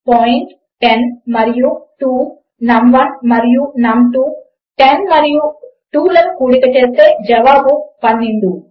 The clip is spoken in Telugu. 10 మరియు 2 నమ్ 1 మరియు నమ్ 2 10 మరియు 2 లను కూడిక చేస్తే జవాబు 12